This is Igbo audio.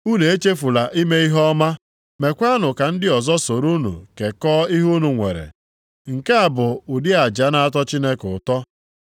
Unu echefula ime ihe ọma, meekwanụ ka ndị ọzọ soro unu kekọọ ihe unu nwere. Nke a bụ ụdị aja na-atọ Chineke ụtọ.